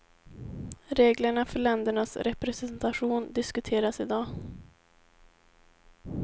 Reglerna för ländernas representation diskuteras i dag.